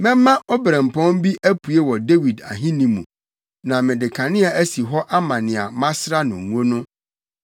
“Mɛma obirɛmpɔn bi apue wɔ Dawid ahenni mu, na mede kanea asi hɔ ama nea masra no ngo no.